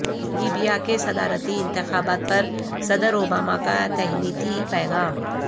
Libya کے صدارتی انتخابات پر صدر اوباما کا تہنیتی پیغام